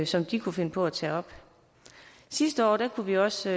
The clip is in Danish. som de kunne finde på at tage op sidste år kunne vi også